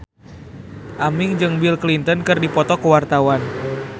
Aming jeung Bill Clinton keur dipoto ku wartawan